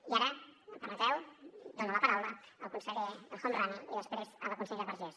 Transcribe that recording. i ara m’ho permetreu dono la paraula al conseller el homrani i després a la consellera vergés